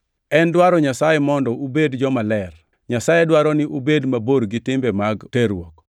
En dwaro Nyasaye mondo ubed jomaler. Nyasaye dwaro ni ubed mabor gi timbe mag terruok